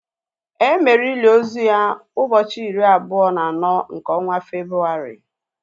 Emere ili ozu ya ụbọchị iri abụọ na anọ nke ọnwa Febrụwarị